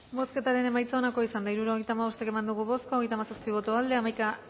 bozketaren emaitza onako izan da hirurogeita hamabost eman dugu bozka hogeita hamazazpi boto aldekoa hamaika